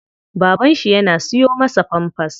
Baban shi yana siyo masa pampers.